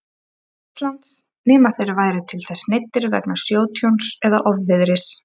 Íslands, nema þeir væru til þess neyddir vegna sjótjóns eða ofviðris.